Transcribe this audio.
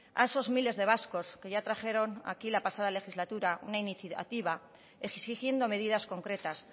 a esos miles de vascos que ya trajeron aquí la pasada legislatura una iniciativa exigiendo medidas concretas